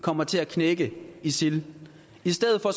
kommer til at knække isil i stedet for